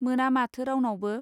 मोना माथो रावनावबो.